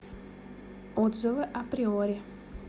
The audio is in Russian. отзывы априори